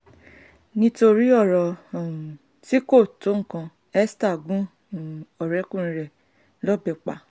nítorí ọ̀rọ̀ um tí kò tó nǹkan esther gún um ọ̀rẹ́kùnrin ẹ̀ lọ́bẹ̀ pa